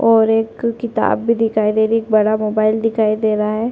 और एक किताब भी दिखाई दे रही है एक बड़ा मोबाइल भी दिख रहा है।